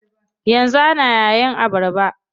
Yanzu ana yayin abarba.